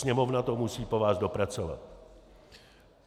Sněmovna to musí po vás dopracovat.